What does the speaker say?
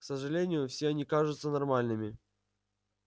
к сожалению все они кажутся нормальными